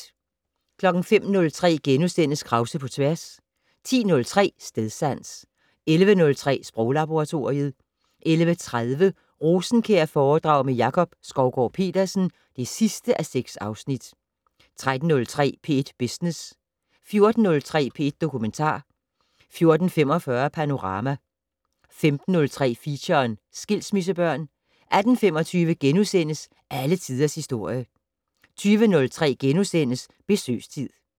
05:03: Krause på tværs * 10:03: Stedsans 11:03: Sproglaboratoriet 11:30: Rosenkjærforedrag med Jakob Skovgaard-Petersen (6:6) 13:03: P1 Business 14:03: P1 Dokumentar 14:45: Panorama 15:03: Feature: Skilsmissebørn 18:25: Alle Tiders Historie * 20:03: Besøgstid *